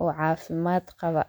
oo caafimad qaba.